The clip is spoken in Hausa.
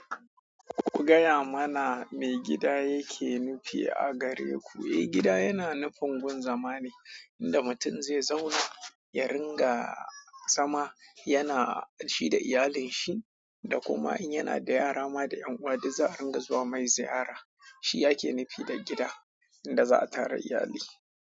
Ku gaya mana me gida yake nufi a gare ku? Eh, gida yana nufin gun zama ne inda mutum zai zauna, ya ringa zama, yana shi da iyalinsa. Da kuma in yana da yara ma da ƴan uwa, duk za a ringa zuwa mai ziyara. Shi yake nufi da gida, inda za a tara iyali.